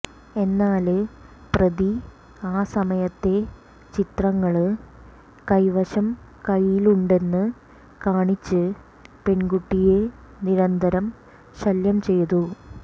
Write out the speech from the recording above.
എന്നാല് പ്രതി ആ സമയത്തെ ചിത്രങ്ങള് കെെവശം കെെയ്യിലുണ്ടെന്ന് കാണിച്ച് പെണ്കുട്ടിയെ നിരന്തരം ശല്യം ചെയ്തു